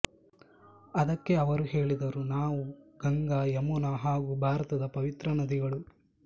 ಅದಕ್ಕೆ ಅವರು ಹೇಳಿದರು ನಾವು ಗಂಗಾ ಯಮುನಾ ಹಾಗೂ ಭಾರತದ ಪವಿತ್ರ ನದಿಗಳು